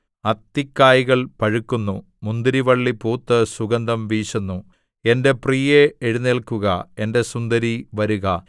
അത്തിക്കായ്കൾ പഴുക്കുന്നു മുന്തിരിവള്ളി പൂത്ത് സുഗന്ധം വീശുന്നു എന്റെ പ്രിയേ എഴുന്നേല്ക്കുക എന്റെ സുന്ദരീ വരുക